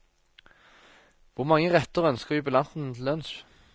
Hvor mange retter ønsker jubilanten til lunsj?